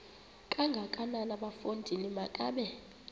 kangakanana bafondini makabe